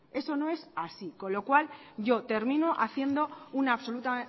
eso no es así con lo cual yo termino haciendo una absoluta